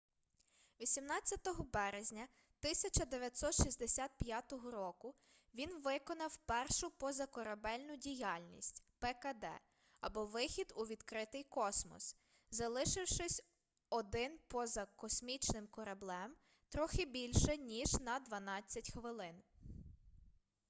18 березня 1965 року він виконав першу позакорабельну діяльність пкд або вихід у відкритий космос залишившись один поза космічним кораблем трохи більше ніж на дванадцять хвилин